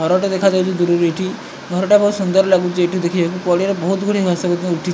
ଘରଟେ ଦେଖାଯାଉଚି‌ ଦୂରରୁ ଏଇଠି। ଘରଟା ବୋହୁତ୍ ସୁନ୍ଦର୍ ଲାଗୁଚି ଏଇଠୁ ଦେଖିବାକୁ। ପଡ଼ିଆରେ ବୋହୁତ୍ ଗୁଡିଏ ଘାସ ମଧ୍ୟ ଉଠି --